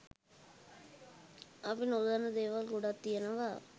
අපි නොදන්න දේවල් ගොඩක් තියනවා.